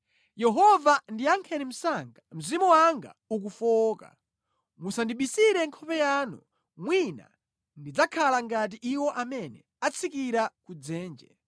Yehova ndiyankheni msanga; mzimu wanga ukufowoka. Musandibisire nkhope yanu, mwina ndidzakhala ngati iwo amene atsikira ku dzenje.